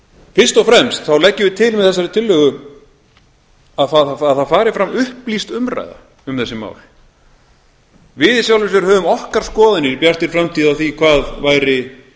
fyrst og fremst þá leggjum við til með þessari tillögu að það fari fram upplýst umræða um þessi mál við í sjálfu sér höfum okkar skoðanir í bjartri framtíð um hvað væri